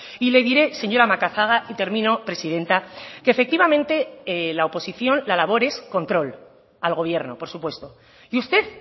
y le diré señora macazaga y termino presidenta que efectivamente la oposición la labor es control al gobierno por supuesto y usted